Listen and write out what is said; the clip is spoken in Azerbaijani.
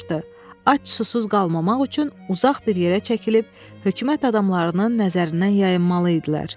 Ac susuz qalmamaq üçün uzaq bir yerə çəkilib hökumət adamlarının nəzərindən yayınmalı idilər.